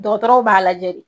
Dɔgɔtɔrɔw b'a lajɛ de .